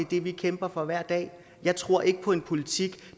det vi kæmper for hver dag jeg tror ikke på en politik